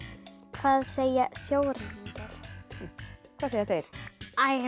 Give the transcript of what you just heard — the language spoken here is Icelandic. hvað segja sjóræningjar hvað segja þeir